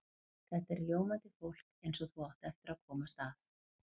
Þetta er ljómandi fólk eins og þú átt eftir að komast að.